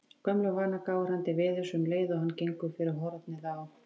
Af gömlum vana gáir hann til veðurs um leið og hann gengur fyrir hornið á